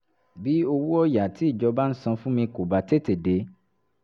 bí owó ọ̀yà tí ìjọba ń san fún mi kò bá tètè dé